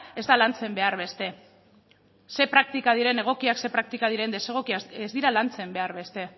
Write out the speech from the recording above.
ez da lantzen behar beste zein praktika diren egokiak zein praktika diren desegokiak ez dira lantzen behar beste